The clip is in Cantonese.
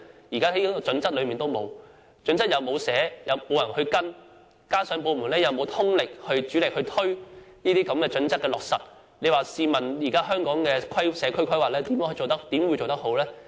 《規劃標準》沒有提出標準，又沒有人跟進，加上部門又沒有通力推行有關準則的落實，試問香港的社區規劃怎會做得好？